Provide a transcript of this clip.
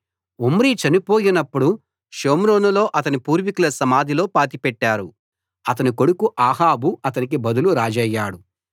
Omri చనిపోయినప్పుడు షోమ్రోనులో తన పూర్వీకుల సమాధిలో పాతిపెట్టారు అతని కొడుకు అహాబు అతనికి బదులు రాజయ్యాడు